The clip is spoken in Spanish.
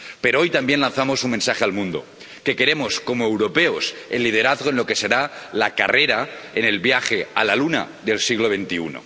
Pero hoy también lanzamos un mensaje al mundo que queremos, como europeos, el liderazgo en lo que será la carrera en el viaje a la Luna del siglo XXI.